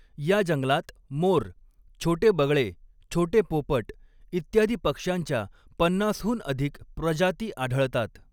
या जंगलात मोर, छोटे बगळे, छोटे पोपट इत्यादी पक्ष्यांच्या पन्नास हून अधिक प्रजाती आढळतात.